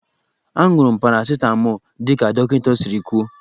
Aṅụrụ m paracịtamọlụ dị ka dọkịta siri kwuo.